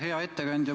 Hea ettekandja!